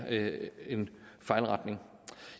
en fejlretning